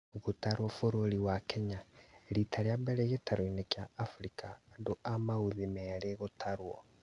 Gũtarwo bũrũri wa Kenya: rita rĩambere gĩtaroinĩ kĩa Afrika andũ a maũthĩ merĩ gũtarwo